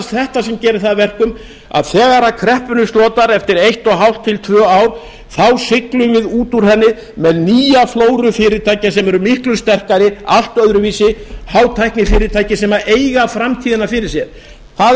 þetta sem gerir það að verkum að þegar kreppunni slotar eftir eitt og hálft til tvö ár þá siglum við út úr henni með nýja flóru fyrirtækja sem eru miklu sterkari allt öðru vísi hátæknifyrirtæki sem eiga framtíðina fyrir sér það